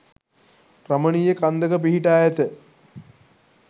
රමණීය කන්දක පිහිටා ඇත.